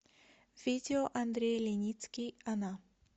видео андрей леницкий она